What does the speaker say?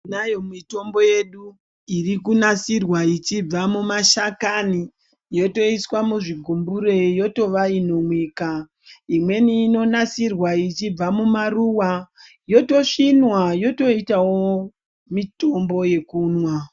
Tinayo mitombo yedu iri kunasirwa ichibva mumashakani yotoiswa muzvigumbire yotova inomwika. Imweni inonasirwa ichibva mumaruwa yotosvinwa yotoitawo mitombo yekumwa.